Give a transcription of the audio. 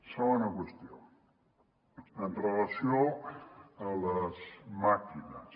segona qüestió en relació amb les màquines